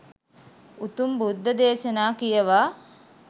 උතුම් බුද්ධ දේශනා කියවා